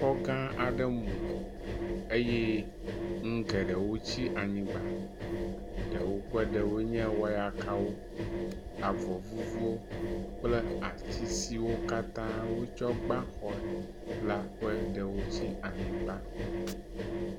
Xɔ gã aɖe mu eye nu gɖewo tsi anyigba ɖewo ƒe ɖewoe nye; wɔyakawo, avɔ vuvuwo kple ati siwo katã wotsɔ gba xɔ la ƒe ɖewo tsi anyigba.